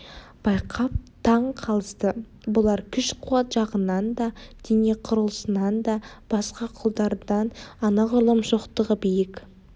байқап таң қалысты бұлар күш-қуат жағынан да дене құрылысынан да басқа құлдардан анағұрлым шоқтығы биік